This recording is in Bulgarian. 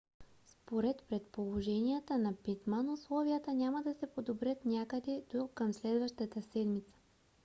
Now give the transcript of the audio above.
според предположенията на питман условията няма да се подобрят някъде до към следващата седмица